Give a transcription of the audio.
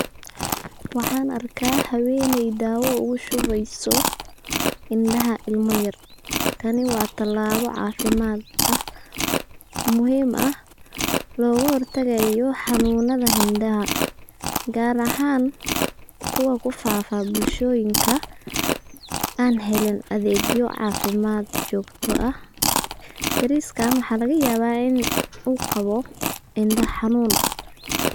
Waxaanarkaa haweeney daawa ugashubeyso indaha ilma yar. Tani waa talaabo caafimad muhiim ah loogahortagaya xanuunadha indaha gaar ahaan kuwa kufaafa bulshooyinka aan heli adheegyo caafimad joogto ah. yariiska waxaa lgayabaa in uu qabo inda xanuun.